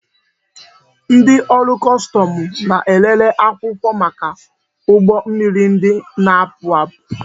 Ndị ọrụ kọstọmụ na-elele akwụkwọ maka ụgbọ mmiri ndị na-apụ apụ